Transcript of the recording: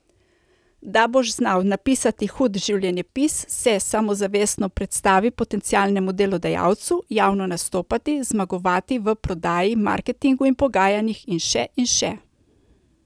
Da boš znal napisati hud življenjepis, se samozavestno predstaviti potencialnemu delodajalcu, javno nastopati, zmagovati v prodaji, marketingu in pogajanjih in še in še.